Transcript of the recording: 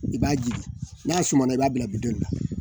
I b'a jigin n'a sumana, i b'a bila bidɔnni la.